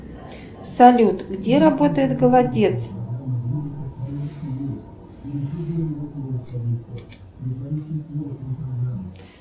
салют где работает голодец